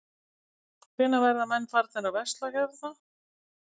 Hvenær verða menn farnir að versla hérna?